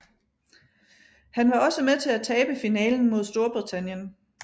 Han var også med til at tabe finalen mod Storbritannien